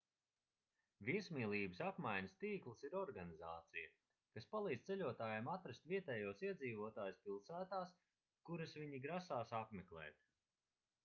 viesmīlības apmaiņas tīkls ir organizācija kas palīdz ceļotājiem atrast vietējos iedzīvotājus pilsētās kuras viņi grasās apmeklēt